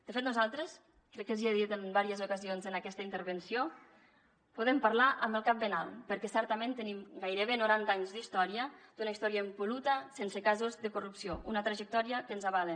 de fet nosaltres crec que els hi he dit en diverses ocasions en aquesta intervenció podem parlar amb el cap ben alt perquè certament tenim gairebé noranta anys d’història d’una història impol·luta sense casos de corrupció una trajectòria que ens avala